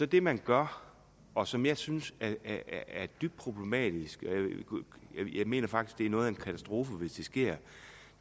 det man gør og som jeg synes er dybt problematisk jeg mener faktisk det er noget af en katastrofe hvis det sker